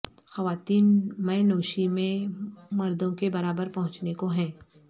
خواتین مے نوشی میں مردوں کے برابر پہنچنے کو ہیں